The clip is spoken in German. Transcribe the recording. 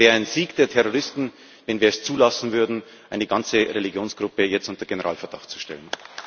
Es wäre ein Sieg der Terroristen, wenn wir es zulassen würden, eine ganze Religionsgruppe jetzt unter Generalverdacht zu stellen.